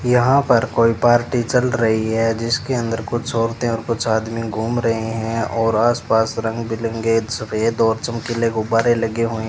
यहां पर कोई पार्टी चल रही है जिसके अंदर कुछ औरतें और कुछ आदमी घूम रहे हैं और आसपास रंग बिरंगे सफेद और चमकीले गुब्बारे लगे हुए --